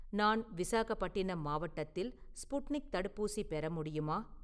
நான் விசாகப்பட்டினம் மாவட்டத்தில் ஸ்புட்னிக் தடுப்பூசி பெற முடியுமா?